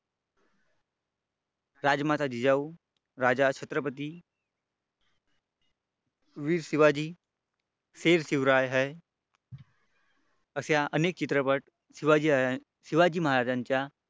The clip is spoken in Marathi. राजमाता जिजाऊ राजा छत्रपती वीर शिवाजी शेर शिवराय है असे अनेक चित्रपट शिवाजी राजा शिवाजी महाराजांच्या